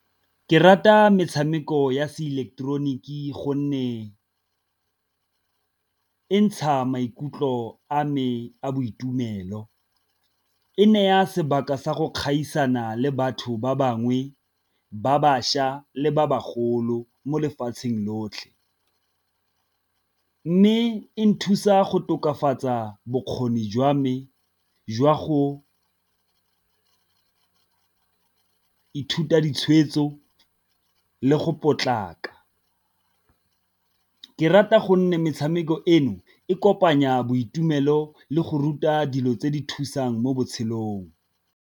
Ke rata metshameko ya se ileketeroniki gonne e ntsha maikutlo a me a boitumelo, e naya sebaka sa go gaisana le batho ba bangwe ba bašwa le ba bagolo mo lefatsheng lotlhe. Mme e nthusa go tokafatsa bokgoni jwa me jwa go ithuta ditshwetso le go potlaka. Ke rata gonne metshameko eno e kopanya boitumelo le go ruta dilo tse di thusang mo botshelong.